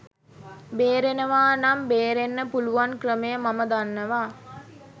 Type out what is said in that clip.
බේරෙනවා නම් බේරෙන්න පුළුවන් ක්‍රමය මම දන්නවා.